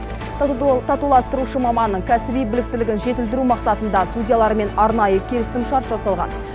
татуластырушы маманның кәсіби біліктілігін жетілдіру мақсатында судьялармен арнайы келісімшарт жасалған